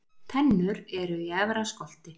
Tennur eru í efra skolti.